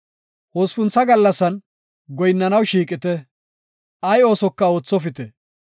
“Hospuntha gallasan goyinnanaw shiiqite; ay oosoka oothopite.